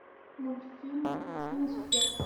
мультфильм финес и ферб